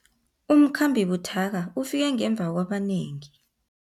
Umkhambi buthaka ufike ngemva kwabanengi.